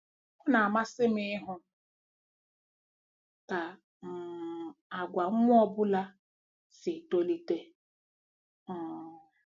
Ọ na-amasị m ịhụ ka um àgwà nwa ọ bụla si etolite um.